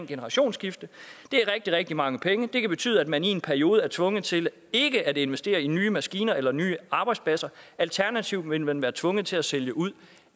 generationsskifte det er rigtig rigtig mange penge og det kan betyde at man i en periode er tvunget til ikke at investere i nye maskiner eller nye arbejdspladser alternativt ville man være tvunget til at sælge ud